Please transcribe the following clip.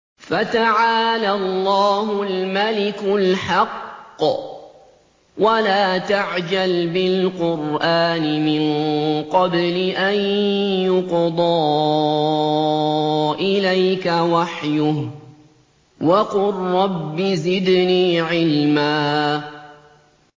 فَتَعَالَى اللَّهُ الْمَلِكُ الْحَقُّ ۗ وَلَا تَعْجَلْ بِالْقُرْآنِ مِن قَبْلِ أَن يُقْضَىٰ إِلَيْكَ وَحْيُهُ ۖ وَقُل رَّبِّ زِدْنِي عِلْمًا